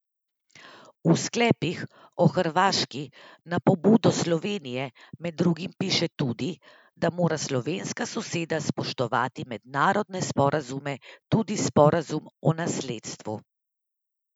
V sklepih o Hrvaški na pobudo Slovenije med drugim piše tudi, da mora slovenska soseda spoštovati mednarodne sporazume, tudi sporazum o nasledstvu.